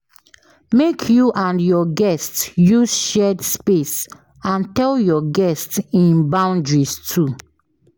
Make you and your guest use shared space and tell your guest in boundaries too